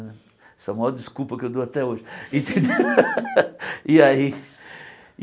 Essa é a maior desculpa que eu dou até hoje. Entendeu e aí